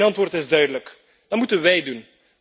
Mijn antwoord is duidelijk dan moeten wij doen.